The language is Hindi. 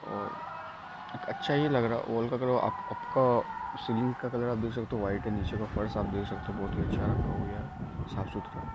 अच्छा ही लग रहा वॉल का कलर सीलिंग का कलर आप देख सकते हो वाइट है निचे का फर्स आप देख सकते हो बहुत ही अच्छा साफ-सुथरा --